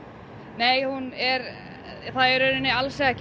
nei hún er það alls ekki